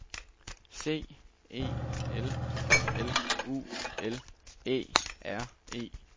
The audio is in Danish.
C E L L U L Æ R E